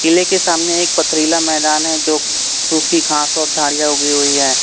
किले के सामने एक पथरीला मैदान है जो सुखी घास और झाड़ियां उगी हुई हैं।